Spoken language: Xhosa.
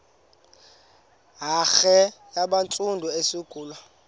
hare yabantsundu eyasungulwa